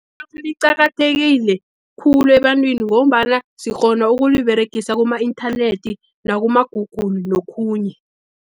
Idatha liqakathekile khulu, ebantwini ngombana sikghona ukuliberegisa kuma-inthanethi, nakuma-Google, nokhunye.